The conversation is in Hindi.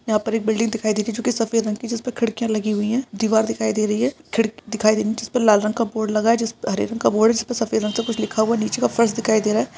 यहाँ पे एक बिल्डिंग दिखाई दे रही है जो की सफेद रंग की जिसपे खिड़कियां लगी हुई है दीवार दिखाई दे रही है खिड़क दिखाई दे रही है जिसपे लाल रंग का बोर्ड लगा है जिसपे हरे रंग का बोर्ड जिसपे सफेद रंग से कुछ लिखा हुआ नीचे का फर्श दिखाई दे रहा है।